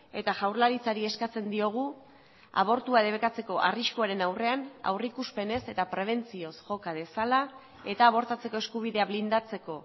eta jaurlaritzari eskatzen diogu abortua debekatzeko arriskuaren aurrean aurrikuspenez eta prebentzioz joka dezala eta abortatzeko eskubidea blindatzeko